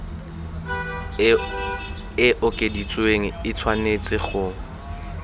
e okeditsweng e tshwanetse go